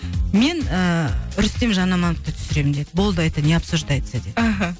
мен ы рустем жанамановты түсіремін деді болды это не обсуждается деді аха